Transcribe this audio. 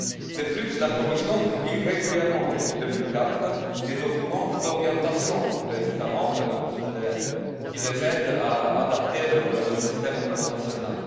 De plus, la Commission publie régulièrement, depuis 2004, des documents d'orientation pour les États membres qui les aident à adapter leur système au niveau national.